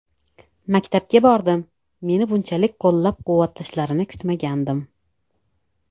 Maktabga bordim, meni bunchalik qo‘llab-quvvatlashlarini kutmagandim.